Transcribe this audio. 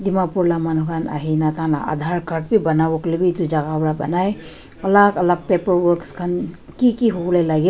dimapur la manu khan ahi gina taikhan la aadhar card b banabo koilebi edu jaga para banai alak alak paperworks khan kiki hobole lage--